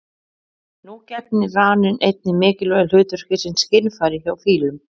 Nú gegnir raninn einnig mikilvægu hlutverki sem skynfæri hjá fílum.